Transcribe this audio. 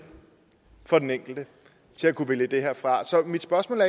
for den enkelte til at kunne vælge det her fra så mit spørgsmål